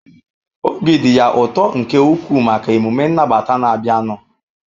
Obi dị ya ụtọ nke ukwuu maka emume nnabata na-abịanụ.